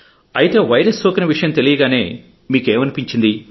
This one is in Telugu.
అయితే వైరస్ సోకిన విషయం తెలియగానే మీకు ఏమనిపించింది